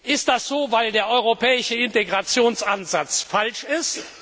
Ist das so, weil der europäische Integrationsansatz falsch ist?